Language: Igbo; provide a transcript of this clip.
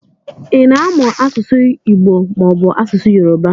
Ịna amụ asụsụ Igbo mọọbụ asụsụ Yoruba?